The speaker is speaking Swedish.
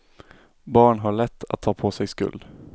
Barn har lätt att ta på sig skuld.